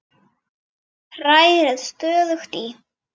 Hrærið stöðugt í.